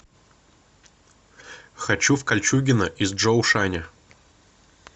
хочу в кольчугино из чжоушаня